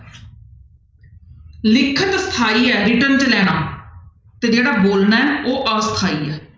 ਲਿਖਤ ਸਥਾਈ ਹੈ ਲਿਖਣ 'ਚ ਲੈਣਾ, ਤੇ ਜਿਹੜਾ ਬੋਲਣਾ ਹੈ ਉਹ ਅਸਥਾਈ ਹੈ।